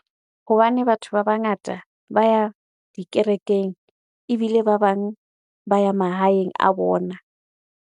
Hobane batho ba bangata ba ya dikerekeng, ebile ba bang ba ya mahaeng a bona.